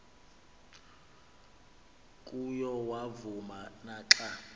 kuyo yavuma naxa